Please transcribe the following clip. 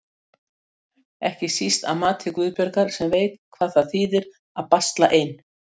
Ekki síst að mati Guðbjargar sem veit hvað það þýðir að basla ein.